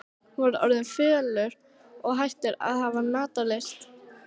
Hann var orðinn fölur og hættur að hafa matarlyst.